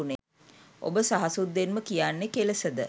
ඔබ සහසුද්දෙන්ම කියන්නෙ කෙලෙසද?